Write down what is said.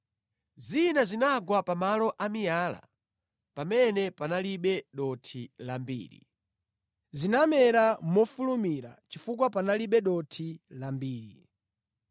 Zina zinagwa pamalo a miyala pamene panalibe dothi lambiri. Zinamera mofulumira chifukwa panalibe dothi lambiri.